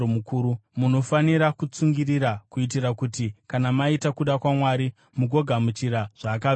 Munofanira kutsungirira kuitira kuti kana maita kuda kwaMwari mugogamuchira zvaakavimbisa.